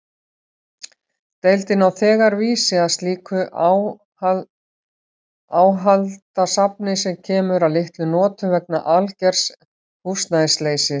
Deildin á þegar vísi að slíku áhaldasafni, sem kemur að litlum notum vegna algers húsnæðisleysis.